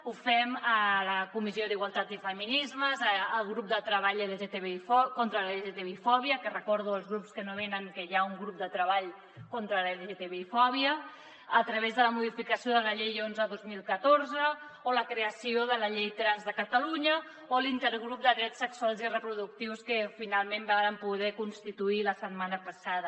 ho fem a la comissió d’igualtat i feminismes al grup de treball sobre la lgtbi fòbia que recordo als grups que no venen que hi ha un grup de treball sobre la lgtbi fòbia a través de la modificació de la llei onze dos mil catorze o la creació de la llei trans de catalunya o l’intergrup de drets sexuals i reproductius que finalment vàrem poder constituir la setmana passada